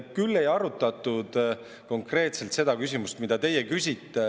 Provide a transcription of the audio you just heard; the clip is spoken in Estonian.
Küll ei arutatud konkreetselt seda küsimust, mida teie küsisite.